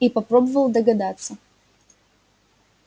и попробовал догадаться